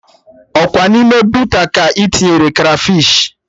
Ọkwa n'ime boota ka ị tinyere krafish